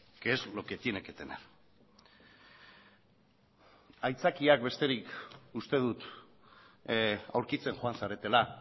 que es lo que tiene que tener aitzakiak besterik uste dut aurkitzen joan zaretela